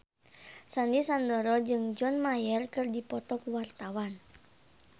Sandy Sandoro jeung John Mayer keur dipoto ku wartawan